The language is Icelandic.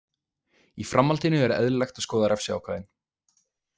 Í framhaldinu er eðlilegt að skoða refsiákvæðin.